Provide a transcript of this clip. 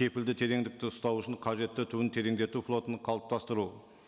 кепілді тереңдікті ұстау үшін қажетті түбін тереңдету флотын қалыптастыру